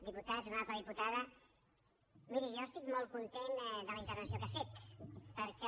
diputats honorable diputada miri jo estic molt content de la intervenció que ha fet perquè